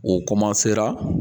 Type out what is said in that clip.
O